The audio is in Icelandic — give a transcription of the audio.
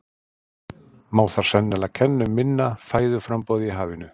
má þar sennilega kenna um minna fæðuframboði í hafinu